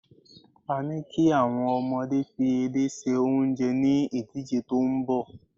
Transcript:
a ni ki awon omode fi edé se onje ni idije ti nbọ